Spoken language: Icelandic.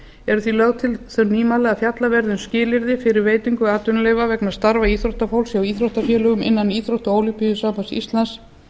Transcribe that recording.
eru því lögð til þau nýmæli að fjallað verði um skilyrði fyrir veitingu atvinnuleyfa vegna starfa íþróttafólks hjá íþróttafélögum innan íþróttaólympíusambands íslands